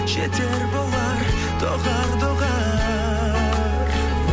жетер болар доғар доғар